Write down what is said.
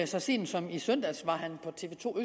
så sent som i søndags var han på tv to